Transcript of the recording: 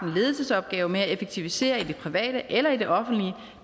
en ledelsesopgave med at effektivisere i det private eller i det offentlige